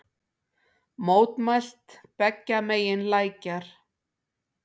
Mótmælt beggja megin lækjar